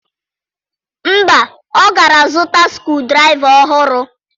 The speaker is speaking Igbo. Mba, ọ ga-azụta skru draịva ọhụrụ.